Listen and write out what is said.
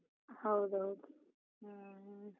ಹೌದೌದು, ಹ್ಮ್.